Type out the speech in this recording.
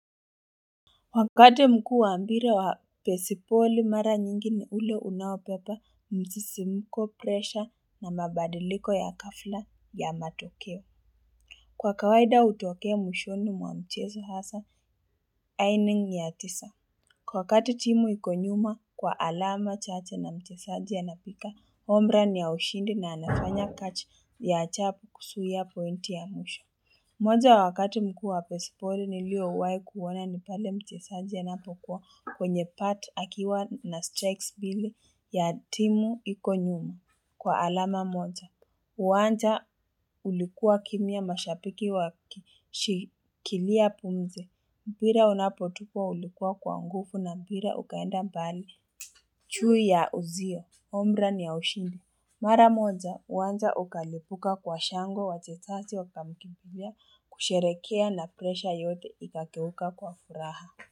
Wakati mkuu wa ambire wa pesipoli mara nyingi ni ule unaopepa mzisi mko presha na mabadiliko ya kafla ya matokeo Kwa kawaida utokea mwishoni mwa mchezo hasa aining ya tisa Kwa kati timu ikonyuma kwa alama cha che na mchesaji a na pika ombra ni ya ushindi na anafanya kachi ya achapu kusuia pointi ya mwisho moja wakati mkuu wa pesipoli nilio uwai kuona ni pale mchesaji a na pokuwa kwenye pati akiwa na strikes bile ya timu ikonyuma kwa alama moja uWanja ulikuwa kimia mashapiki wa shikilia pumzi Mbira unapotukwa ulikuwa kwa nguvu na mbira ukaenda mbali Chui ya uzio, omra ni ya ushindi Mara moja, uwanja ukalipuka kwa shango wachetati wakamkipuja kusherekea na kresha yote ikakeuka kwa furaha.